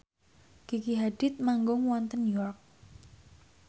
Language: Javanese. Gigi Hadid manggung wonten York